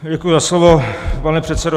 Děkuji za slovo, pane předsedo.